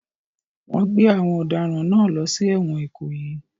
Wọ́n gbé àwọn ọ̀daràn náà lọ sí ẹ̀wọ̀n Ikoyi